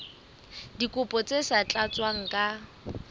dikopo tse sa tlatswang ka